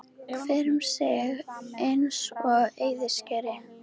Hver um sig eins og á eyðiskeri.